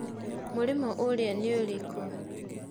Mũrĩmo ũrĩa nĩũrĩkũ?